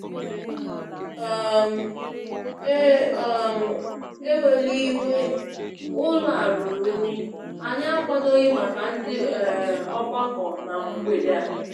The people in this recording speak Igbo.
um E um wela iwe ụlọ a ruru unyi, anyị akwadoghi màkà ndị um ọgbakọ na mgbede a.